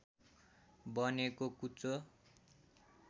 बनेको कुचो